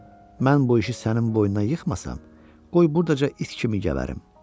"Mən bu işi sənin boynuna yıxmasam, qoy burdaca it kimi gəbərim."